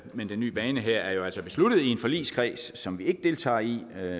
men den nye bane her er altså besluttet i en forligskreds som vi ikke deltager i